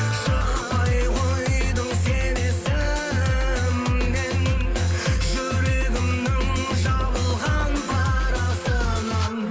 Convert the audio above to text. шықпай қойдың сен есімнен жүрегімнің жабылған парасынан